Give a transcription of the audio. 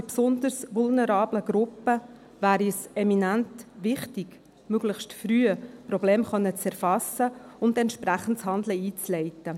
Gerade bei besonders vulnerablen Gruppen wäre es eminent wichtig, Probleme möglichst früh erfassen zu können und entsprechendes Handeln einzuleiten.